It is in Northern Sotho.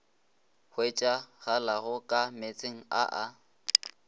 hwetšagalago ka meetseng a a